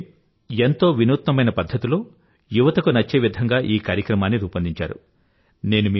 మీరు ఎంతో వినూత్న పధ్ధతిలో ముఖ్యంగా యువతకు నచ్చే విధంగా ఈ కార్యక్రమాన్ని రూపొందించారు